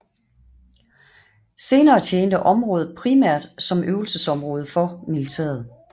Senere tjente området primært som øvelsesområde for militæret